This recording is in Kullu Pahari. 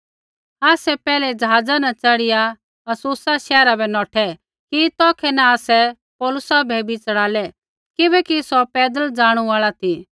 आसै पैहलै ज़हाज़ा न च़ढ़िया अस्सुसा शैहरा बै नौठै कि तौखै न आसै पौलुसा बै बी च़ढ़ालै किबैकि सौ पैदल ज़ाणू आल़ा ती